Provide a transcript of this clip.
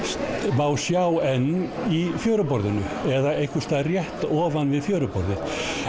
má sjá enn í fjöruborðinu eða einhvers staðar rétt ofan við fjöruborðið